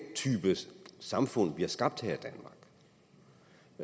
type samfund vi har skabt